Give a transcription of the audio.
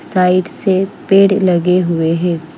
Side से पेड़ लगे हुए है।